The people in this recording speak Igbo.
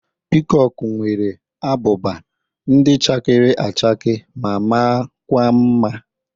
Pịkọkụ nwere ábụbà ndị chakere áchàke ma maa kwa mma.